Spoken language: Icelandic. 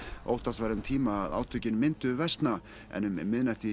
óttast var um tíma að átökin myndu versna en um miðnætti